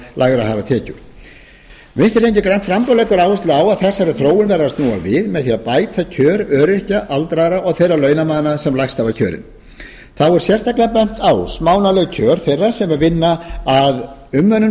lægri hafa tekjur vinstri hreyfingin grænt framboð leggur áherslu á að þessari þróun verði að snúa við með því að bæta kjör öryrkja aldraðra og þeirra launamanna sem lægst hafa kjörin þá er sérstaklega bent á smánarleg kjör þeirra sem vinna að umönnun